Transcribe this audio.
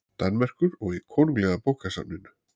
Danmerkur og í Konunglega bókasafninu.